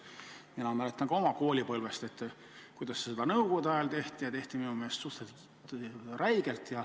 Mina mäletan oma koolipõlvest, kuidas seda nõukogude ajal tehti, ja tehti minu meelest suhteliselt räigelt.